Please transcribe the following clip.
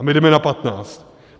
A my jdeme na patnáct.